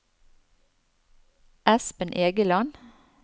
Espen Egeland